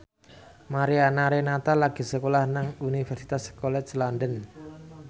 Mariana Renata lagi sekolah nang Universitas College London